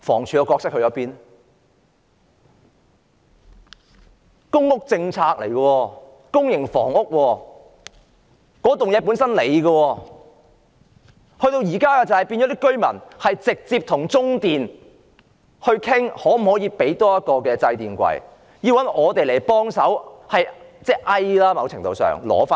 這是公屋政策，也是公營房屋，這棟樓宇是房署的，但現時居民卻要直接與中電商討可否多提供一個掣櫃，更要尋求議員的協助。